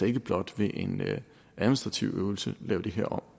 ikke blot ved en administrativ øvelse lave det her om